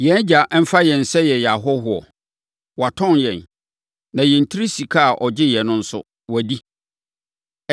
Yɛn agya mfa yɛn sɛ yɛyɛ ahɔhoɔ? Watɔn yɛn, na yɛn tiri sika a ɔgyeeɛ no nso, wadi.